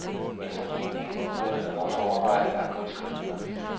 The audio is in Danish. Efter min mening burde man også overveje at gå et skridt videre.